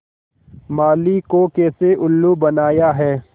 माली को कैसे उल्लू बनाया है